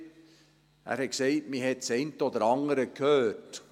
Er hat gesagt, man habe das eine oder andere gehört.